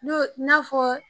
Don n'a fɔ